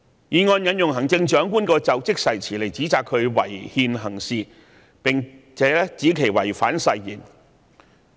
議案引用行政長官的就職誓詞來指責她違憲行事，並指她違反誓言。